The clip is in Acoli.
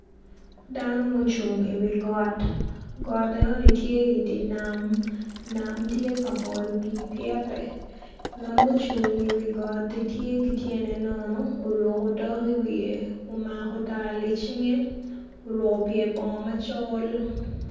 Dano mucung iwi got enoni tye idi nam nam tye ka mol pii pyete ngat mucung iwi got tye ki tyene nono oruko otok iwiye omako tal icinge oruko pyer bongo macol.